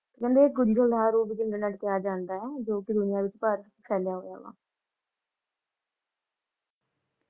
ਕਹਿੰਦੇ ਇਹ ਵਿਚ ਕਿਹਾ ਜਾਂਦਾ ਹੈ ਜੋ ਕਿ ਦੁਨੀਆਂ ਵਿਚ ਫੈਲਿਆ ਹੋਇਆ ਵਾ ।